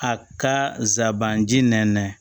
A ka zaban ji nɛn